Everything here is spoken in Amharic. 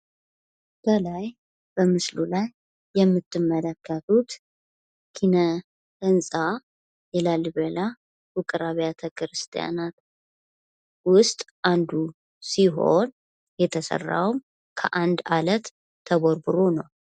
ከላይ በምስሉ ላይ የምትመለከቱት ኪነ ህንፃ የላሊበላ ውቅር አቢያተ ክርስቲያናት ውስጥ አንዱ ሲሆን የተሰራው ከአንድ አለት ተቦርቡሮ ነው።